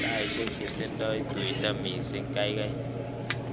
Taishek chetindoi tuindo mising' kaikai